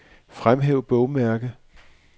Fremhæv bogmærke.